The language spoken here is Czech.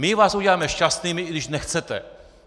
My vás uděláme šťastnými, i když nechcete!